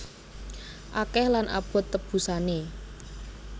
Akeh lan abot tebusané